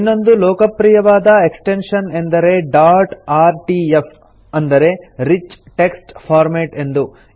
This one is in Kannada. ಇನ್ನೊಂದು ಲೋಕಪ್ರಿಯವಾದ ಎಕ್ಸ್ಟೆನ್ಶನ್ ಎಂದರೆ ಡಾಟ್ ಆರ್ಟಿಎಫ್ ಅಂದರೆ ರಿಚ್ ಟೆಕ್ಸ್ಟ್ ಫಾರ್ಮ್ಯಾಟ್ ಎಂದು